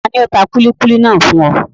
Tani ó tà kúlíkúlí náà fún ọ?